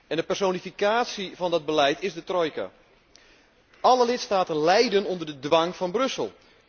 En de personificatie van dat beleid is de trojka. Alle lidstaten lijden onder de dwang van Brussel.